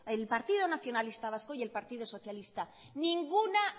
el partido nacionalista vasco y el partido socialista ninguna